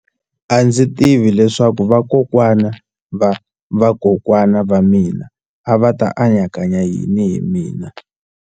A ndzi tivi leswaku vakokwana-va-vakokwana va mina a va ta anakanya yini hi mina.